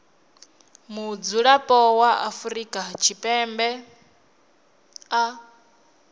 mudzulapo wa afrika tshipembe a